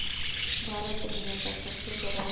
भारत दुनिया का सबसे बड़ा